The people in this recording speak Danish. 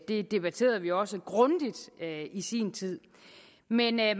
det debatterede vi også grundigt i sin tid men jeg